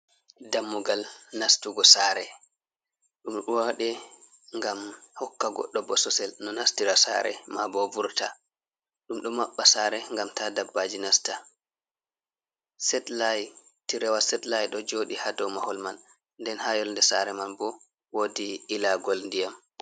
Dammugal nastugo sare, ɗum ɗo waɗe ngam hokka godɗo bososel no nastira sare, mabo vurta, ɗum ɗo maɓɓa sare ngam ta dabbaji nasta, set layi ɗo joɗi hadow mahol man, nden ha yolnde sare man bo wodi ilagol diyam.